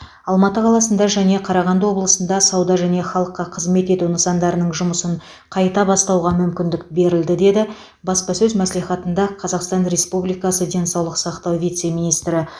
алматы қаласында және қарағанды облысында сауда және халыққа қызмет ету нысандарының жұмысын қайта бастауға мүмкіндік берілді деді баспасөз мәслихатында қазақстан республикасы денсаулық сақтау вице министрі